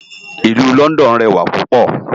Ilù Lòndòn rèwá púpò